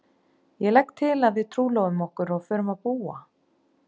Ég legg til að við trúlofum okkur og förum að búa.